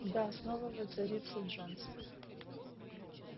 да снова воцарится джонс